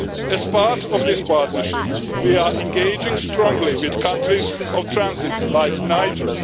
As part of this partnership we are engaging strongly with countries of transit like Niger.